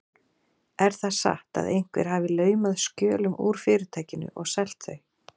Er það satt, að einhver hafi laumað skjölum úr Fyrirtækinu og selt þau?